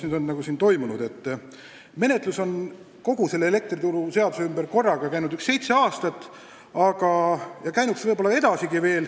Kogu see trall elektrituru seaduse ümber on käinud mingi seitse aastat ja käinuks võib-olla edasigi.